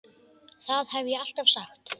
Það hef ég alltaf sagt.